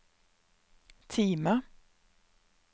Time